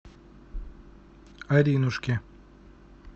аринушке